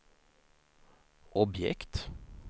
objekt